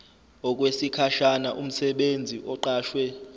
okwesikhashana umsebenzi oqashwe